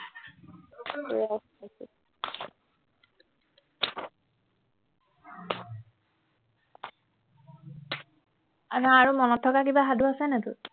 আৰু মনত থকা কিবা সাধু আছে নাই তোৰ